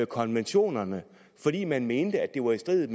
konventionerne fordi man mente at det var i strid